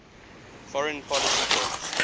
foreign policy goals